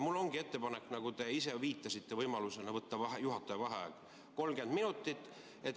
Mul ongi ettepanek, nagu te ise viitasite võimalusena, võtta juhataja vaheaeg 30 minutit.